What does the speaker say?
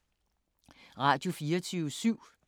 Radio24syv